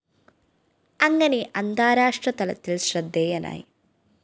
അങ്ങനെ അന്താരാഷ്ട്ര തലത്തില്‍ ശ്രദ്ധേയനായി